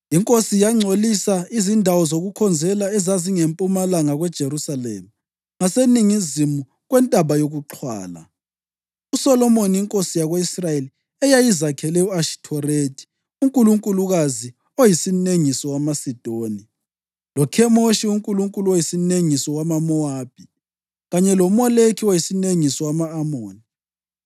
Inkosi yangcolisa izindawo zokukhonzela ezazingempumalanga kweJerusalema, ngaseningizimu kwentaba yokuXhwala, uSolomoni inkosi yako-Israyeli eyayizakhele u-Ashithorethi unkulunkulukazi oyisinengiso wamaSidoni, loKhemoshi uNkulunkulu oyisinengiso wamaMowabi, kanye loMoleki oyisinengiso wama-Amoni.